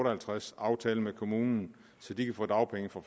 og halvtreds aftale med kommunen så de kan få dagpenge fra